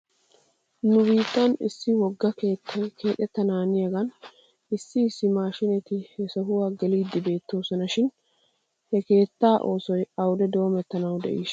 Nu biittan issi wogga keettay keexettanaaniyaagan issi issi maashiinati he sohuwaa geliiddi beettoosona shin he keettaa oosoy awde doomettanaw de'iishsha?